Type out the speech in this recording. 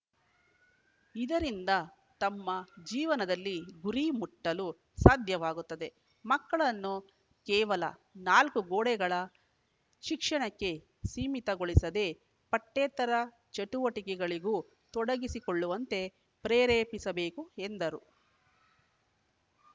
ಇದರಿಂದ ತಮ್ಮ ಜೀವನದಲ್ಲಿ ಗುರಿ ಮುಟ್ಟಲು ಸಾಧ್ಯವಾಗುತ್ತದೆ ಮಕ್ಕಳನ್ನು ಕೇವಲ ನಾಲ್ಕು ಗೋಡೆಗಳ ಶಿಕ್ಷಣಕ್ಕೆ ಸೀಮಿತಗೊಳಿಸದೇ ಪಠ್ಯೇತರ ಚಟುವಟಿಕೆಗಳಿಗೂ ತೊಡಗಿಸಿಕೊಳ್ಳುವಂತೆ ಪ್ರೇರೇಪಿಸಬೇಕು ಎಂದರು